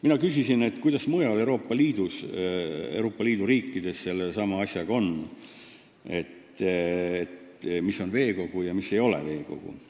Mina küsisin, kuidas mujal Euroopa Liidu riikides sellesama asjaga on: mis on veekogu ja mis ei ole veekogu.